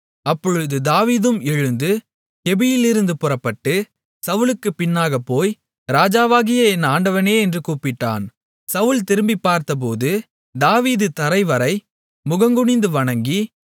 அப்பொழுது தாவீதும் எழுந்து கெபியிலிருந்து புறப்பட்டு சவுலுக்குப் பின்னாகப் போய் ராஜாவாகிய என் ஆண்டவனே என்று கூப்பிட்டான் சவுல் திரும்பிப்பார்த்தபோது தாவீது தரை வரை முகங்குனிந்து வணங்கி